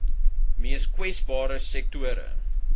mees kwesbare sektore